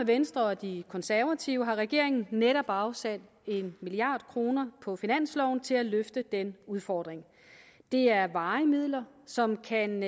venstre og de konservative har regeringen netop afsat en milliard kroner på finansloven til at løfte den udfordring det er varige midler som kan